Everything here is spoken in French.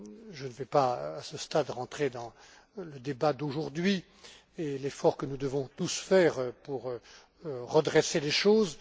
Je ne vais pas, à ce stade, rentrer dans le débat d'aujourd'hui sur l'effort que nous devons tous faire pour redresser les choses.